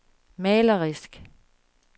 malerisk